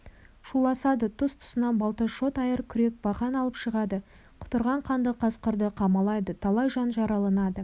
шуласады тұс-тұсынан балта шот айыр күрек бақан алып шығады құтырған қанды қасқырды қамалайды талай жан жараланады